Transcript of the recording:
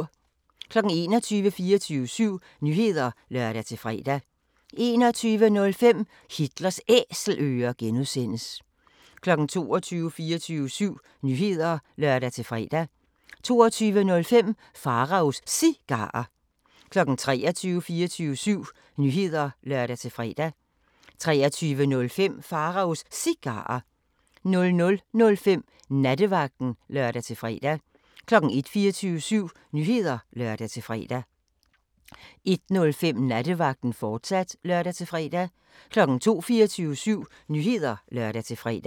21:00: 24syv Nyheder (lør-fre) 21:05: Hitlers Æselører (G) 22:00: 24syv Nyheder (lør-fre) 22:05: Pharaos Cigarer 23:00: 24syv Nyheder (lør-fre) 23:05: Pharaos Cigarer 00:05: Nattevagten (lør-fre) 01:00: 24syv Nyheder (lør-fre) 01:05: Nattevagten, fortsat (lør-fre) 02:00: 24syv Nyheder (lør-fre)